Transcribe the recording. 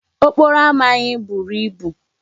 Okporo ama anyị buru ibu.